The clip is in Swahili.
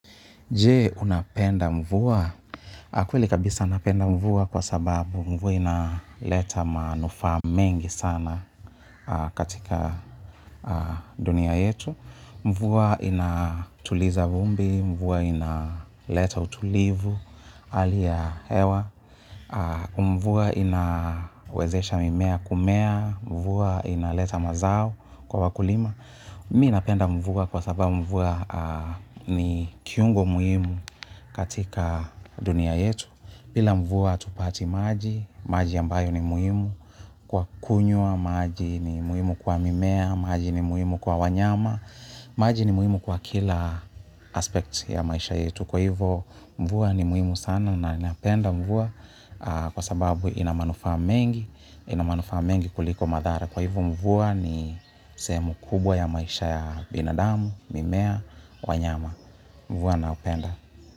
Je, unapenda mvua? Ah, kweli kabisa napenda mvua kwa sababu, mvua ina leta manufaa mengi sana katika dunia yetu. Mvua inatuliza vumbi, mvua ina leta utulivu hali ya hewa. Mvua ina wezesha mimea kumea. Mvua inaleta mazao kwa wakulima. Mi napenda mvua kwa sababu mvua ni kiungo muhimu katika dunia yetu. Bila mvua hatupati maji. Maji ambayo ni muhimu kwa kunywa, maji ni muhimu kwa mimea, maji ni muhimu kwa wanyama, maji ni muhimu kwa kila aspect ya maisha yetu. Kwa hivo, mvua ni muhimu sana na napenda mvua kwa sababu ina manufaa mengi. Ina manufaa mengi kuliko madhara. Kwa hivyo mvua ni sehemu kubwa ya maisha ya binadamu, mimea, wanyama. Mvua napenda.